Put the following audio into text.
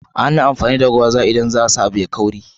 Ana amfani da gwaza, idan a sa abu kauri.